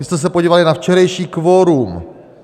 My jsme se podívali na včerejší kvorum.